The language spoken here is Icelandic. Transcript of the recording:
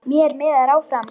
Mér miðar áfram.